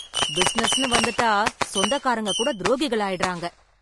பிசினஸ்ன்னு வந்துட்டா சொந்தக்காரங்க கூட துரோகிகள் ஆயிடுறாங்க